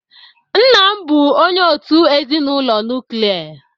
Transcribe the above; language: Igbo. Nna m bụ onye òtù ezinụlọ nuklia.